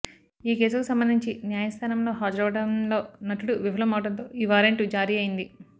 ఈ కేసుకు సంబంధించి న్యాయస్థానంలో హాజరవడంలో నటుడు విఫలమవడంతో ఈ వారెంటు జారీ అయ్యింది